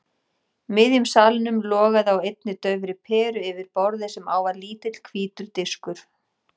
miðjum salnum logaði á einni daufri peru yfir borði sem á var lítill hvítur diskur.